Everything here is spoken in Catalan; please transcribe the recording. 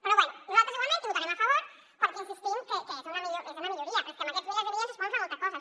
però bé nosaltres igualment hi votarem a favor perquè hi insistim que és una milloria és que amb aquests milers de milions es poden fer moltes coses